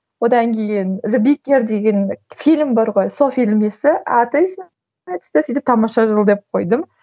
одан кейін деген фильм бар ғой сол фильм тамаша жыл деп қойдым